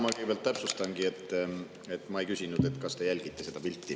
Ma kõigepealt täpsustan, et ma ei küsinud, kas te jälgite seda pilti.